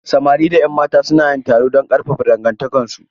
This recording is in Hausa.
Samari da 'yan mata su na yin taro don ƙarfafa dangantakarsu.